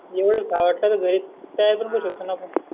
एवडे खावं वाटत तर घरी तयार करू शकत आपण